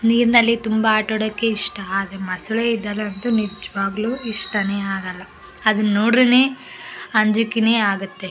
ನೀರಿನಲ್ಲಿ ತುಂಬಾ ಆಟ ಆಡೋಕೆ ಇಷ್ಟ ಆದ್ರೆ ಮೊಸಳೆ ಇದ್ದಲ್ ಅಂತೂ ನಿಜ್ವಾಗ್ಲೂ ಇಷ್ಟನೇ ಆಗಲ್ಲ ಅದನ್ ನೋಡ್ರೆನೇ ಅಂಜಿಕೆನೇ ಆಗುತ್ತೆ.